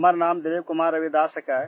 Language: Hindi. मेरा नाम दिलीप कुमार रविदास है